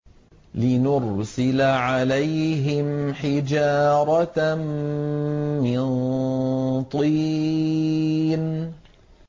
لِنُرْسِلَ عَلَيْهِمْ حِجَارَةً مِّن طِينٍ